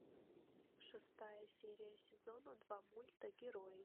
шестая серия сезона два мульта герой